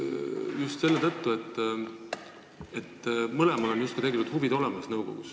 Just selle tõttu, et mõlemal on nõukogus justkui huvid olemas.